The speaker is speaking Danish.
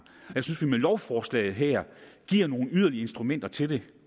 jeg synes vi med lovforslaget her giver nogle yderligere instrumenter til det